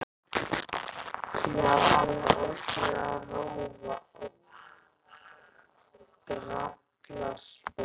Já, alveg ótrúleg rófa og grallaraspói.